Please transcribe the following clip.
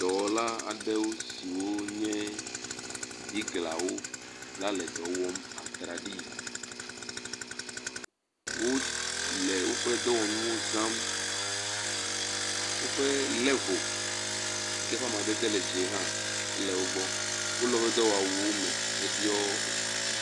dɔwɔla aɖewo swiwo nye biglawo la le dɔwɔ atraɖii. Wo le woƒe dɔwɔnuwo zam. Woƒe level yi ke ƒe amadede le dzi ehã ele wo gbɔ. Wole woƒe dɔwɔwuwo me heɖɔ